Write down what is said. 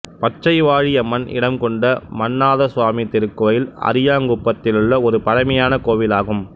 பச்சைவாழி அம்மன் இடம்கொண்ட மன்ணாதசுவாமி திருக்கோவில் அரியாங்குப்பத்திலுள்ள ஒரு பழமையான கோவில் ஆகும்